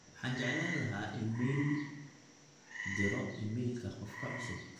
waxaan jeclaan lahaa iimayl diro iimaylka qofka cusub